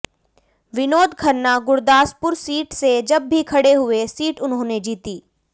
Vinod Khanna Gurdaspur seat से जब भी खड़े हुए सीट उन्होंने जीती